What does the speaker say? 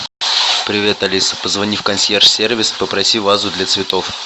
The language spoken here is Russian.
привет алиса позвони в консьерж сервис попроси вазу для цветов